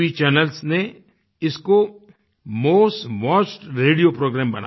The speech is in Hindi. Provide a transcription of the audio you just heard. चैनल्स ने इसको मोस्ट वॉच्ड रेडियो प्रोग्राम बना दिया